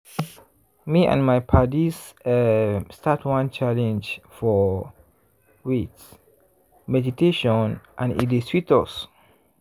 me and my paddies um start one challenge for wait! meditationand e dey sweet us.